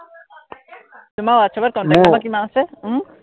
তোমাৰ whatsapp ত contact number কিমান আছে